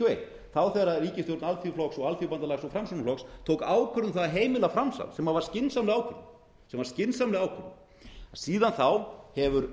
og eitt það var þegar ríkisstjórn alþýðuflokks og alþýðubandalags og framsóknarflokks tók ákvörðun um það að heimila framsal sem var skynsamleg ákvörðun sem var skynsamleg ákvörðun síðan þá hefur